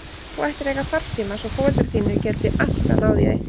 Þú ættir að eiga farsíma svo foreldrar þínir geti alltaf náð í þig.